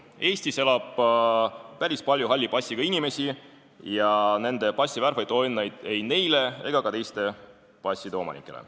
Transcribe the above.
Eestis elab päris palju halli passiga inimesi ja nende passi värv ei too õnne ei neile ega ka teiste passide omanikele.